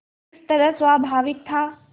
किस तरह स्वाभाविक था